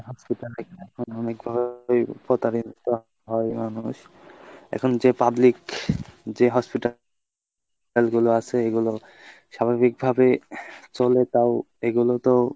hospital এ এখন অনেক ধরণের প্রতারিত হয় মানুষ এখন যে public যে hospital গুলো আছে এইগুলো স্বাভাবিক ভাবে তও এগুলোতো।